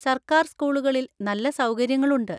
സർക്കാർ സ്കൂളുകളിൽ നല്ല സൗകര്യങ്ങളുണ്ട്.